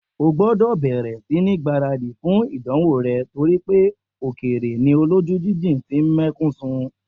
O gbọ́dọ̀ bẹ̀rẹ̀ sí ní gbáradì fún ìdánwò rẹ̀ torí pé òkèèrè ni olójú jíjìn tí ń mẹ́kún sun!